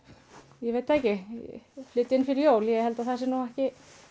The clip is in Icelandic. ég veit ekki flytja inn fyrir jól ég held samt að það sé ekki